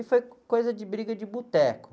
E foi com coisa de briga de boteco.